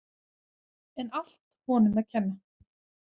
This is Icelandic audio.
En allt honum að kenna.